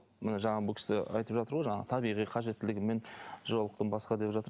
міне жаңағы бұл кісі айтып жатыр ғой жаңағы табиғи қажеттілігімен жолықтым басқа деп жатыр